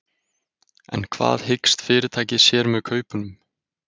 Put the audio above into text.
En hvað hyggst fyrirtækið sér með kaupunum?